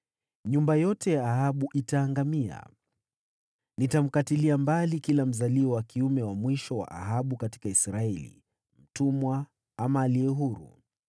Nyumba yote ya Ahabu itaangamia. Nitamkatilia mbali kila mzaliwa wa kiume wa Ahabu katika Israeli, aliye mtumwa ama aliye huru.